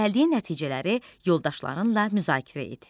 Gəldiyin nəticələri yoldaşlarınla müzakirə et.